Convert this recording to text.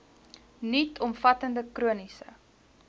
nuut omvattende chroniese